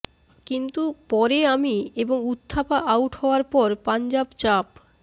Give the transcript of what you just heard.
কিন্তু পরে আমি এবং উথাপ্পা আউট হওয়ার পর পঞ্জাব চাপ